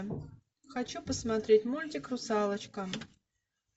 хочу посмотреть мультик русалочка